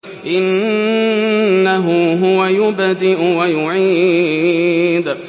إِنَّهُ هُوَ يُبْدِئُ وَيُعِيدُ